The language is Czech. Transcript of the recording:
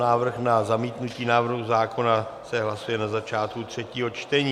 Návrh na zamítnutí návrhu zákona se hlasuje na začátku třetího čtení.